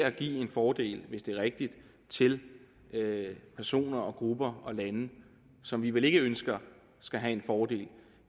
at give en fordel hvis det er rigtigt til personer og grupper og lande som vi vel ikke ønsker skal have en fordel